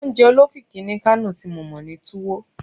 Ounje olokiki ni Kano ti mo mọ ni Tuwo